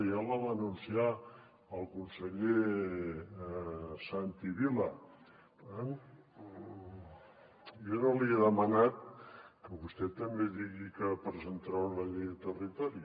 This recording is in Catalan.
ja la va anunciar el conseller santi vila eh jo no li he demanat que vostè també digui que presentarà una llei de territori